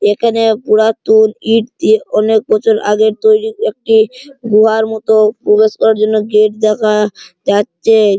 এখানে পুরাতন ইট দিয়ে অনেক বছর আগের তৈরি একটি গুহার মত প্রবেশ করার জন্য গেট দেখা যাচ্ছে।